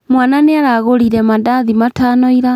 Mwana nĩaragũrire mandathi matano ira